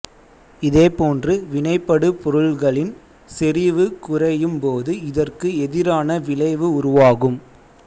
இதே போன்று வினைபடுபொருள்களின் செறிவு குறையும்போது இதற்கு எதிரான விளைவு உருவாகும்